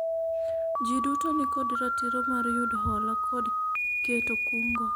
jii duto nikod ratiro mar yudo hola kod keto kungo